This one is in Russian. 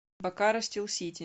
бокаро стил сити